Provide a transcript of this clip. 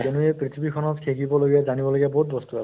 কিয়্নো এই পৃথিৱীখনত শিকিবলগীয়া জানিবলগীয়া বহুত বস্তু আছে